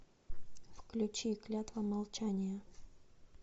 включи клятва молчания